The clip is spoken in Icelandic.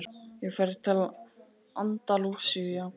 Ég fer til Andalúsíu í ágúst.